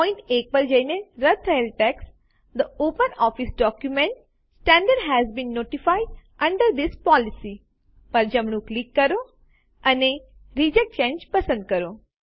point 1 પર જઈને રદ્દ થયેલ text the OpenOffice document standard has been notified under this policy પર જમણું ક્લિક કરો અને રિજેક્ટ ચાંગે પસંદ કરો